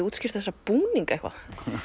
útskýrt þessa búninga eitthvað